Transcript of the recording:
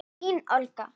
Þín Olga.